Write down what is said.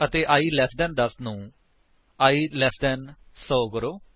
ਅਤੇ i less than 10 ਨੂੰ i less than 100 ਕਰੋ